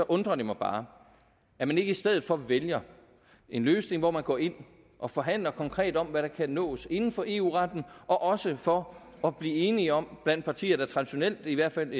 undrer det mig bare at man ikke i stedet for vælger en løsning hvor man går ind og forhandler konkret om hvad der kan nås inden for eu retten også for at blive enige om blandt partier der traditionelt i hvert fald